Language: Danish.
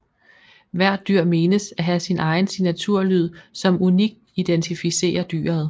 Hvert dyr menes at have sin egen signaturlyd som unikt identificerer dyret